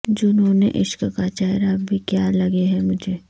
جنون عشق کا چہرہ بھی کیا لگے ہے مجھے